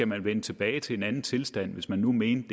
man vende tilbage til en anden tilstand hvis man nu mente